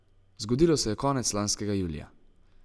Zgodilo se je konec lanskega julija.